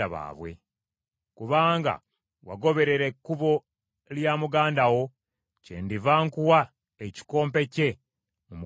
Kubanga wagoberera ekkubo lya muganda wo, kyendiva nkuwa ekikompe kye mu mukono gwo.